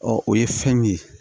o ye fɛn min ye